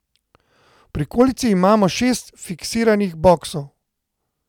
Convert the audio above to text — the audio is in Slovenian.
V prikolici imamo šest fiksiranih boksov.